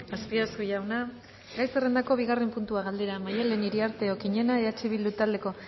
azpiazu jauna gai zerrendako bigarren puntua galdera maddalen iriarte okiñena eh bildu taldeko